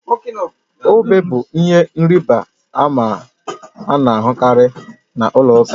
Obe bụ ihe ịrịba ama a na-ahụkarị na ụlọ ụka